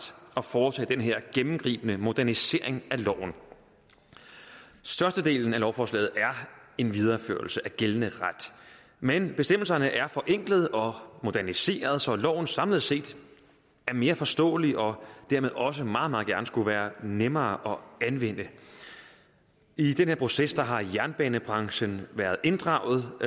at foretage den her gennemgribende modernisering af loven størstedelen af lovforslaget er en videreførelse af gældende ret men bestemmelserne er forenklet og moderniseret så loven samlet set er mere forståelig og dermed også meget meget gerne skulle være nemmere at anvende i den her proces har jernbanebranchen været inddraget